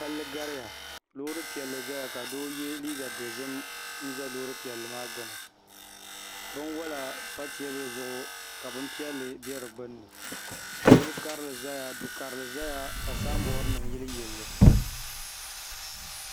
Palli gariya loori piɛlli ʒɛya ka doo yɛ liiga piɛlli ʒɛ loori maa gbuni bunwola pa teebuli zuɣu ka bunpiɛla bɛ di gbunni yili karili ʒɛya du karili ʒɛya ka sanbood nim yiliyili li